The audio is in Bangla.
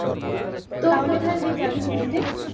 তাহলে কোথায় যাবি ঘুরতে?